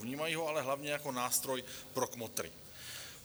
Vnímají ho ale hlavně jako nástroj pro kmotry.